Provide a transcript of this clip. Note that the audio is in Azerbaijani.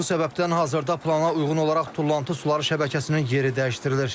Məhz bu səbəbdən hazırda plana uyğun olaraq tullantı suları şəbəkəsinin yeri dəyişdirilir.